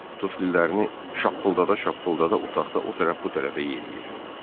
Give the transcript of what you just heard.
Tuflilərini şappıldada-şappıldada otaqda o tərəf bu tərəfə yeriyir.